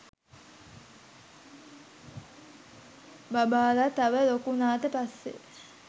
බබාලා තව ලොකු උනාට පස්සේ